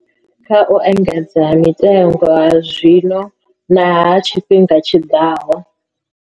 Kha u engedzea ha mitengo ha zwino na ha tshifhiga tshiḓaho.